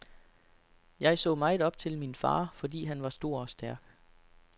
Jeg så meget op til min far, fordi han var stor og stærk.